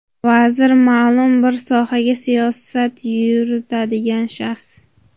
Vazir – ma’lum bir sohada siyosat yuritadigan shaxs.